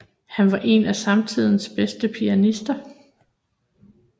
Han var en af samtidens bedste pianister